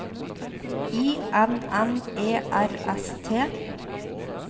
I N N E R S T